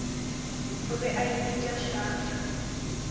o be a ipitša shark